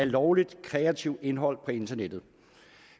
lovligt kreativt indhold på internettet